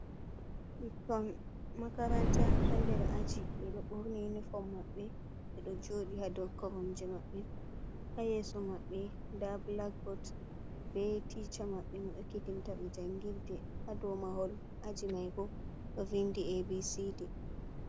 Ɓikkon makaranta ha nder aji ɓeɗo ɓorni uniform maɓɓe. Ɓeɗo joɗi ha dou koromje maɓɓe. Ha yeso maɓɓe nda blackboot be ticca maɓɓe mo ekitinta ɓe jangirde. Ha dou mahol aji mai bo ɗo vindi abcd.